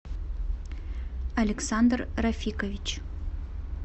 александр рафикович